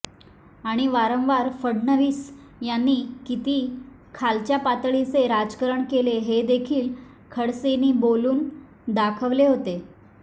आणि वारंवार फडणवीस यांनी किती खालच्या पातळीचे राजकरण केले हे देखील खडसेंनी बोलून दाखवले होते